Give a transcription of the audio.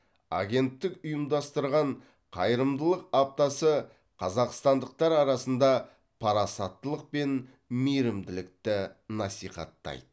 агенттік ұйымдастырған қайырымдылық аптасы қазақстандықтар арасында парасаттылық пен мейірімділікті насихаттайды